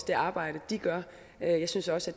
det arbejde de gør jeg synes også